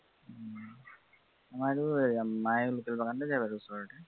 আমাৰো এৰ মায়ে local বাগানতেই যায় বাৰু ওচৰতে